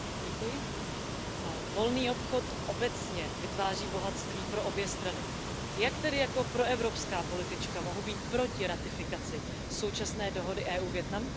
Paní předsedající, volný obchod obecně vytváří bohatství pro obě strany. Jak tedy jako proevropská politička mohu být proti ratifikaci současné dohody EU Vietnam?